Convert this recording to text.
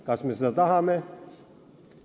Kas me seda tahame?